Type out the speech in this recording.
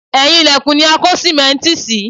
Ẹ̀yìn ilẹ̀kùn ni a kó sìmẹ́ǹtì sí